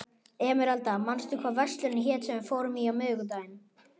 Emeralda, manstu hvað verslunin hét sem við fórum í á miðvikudaginn?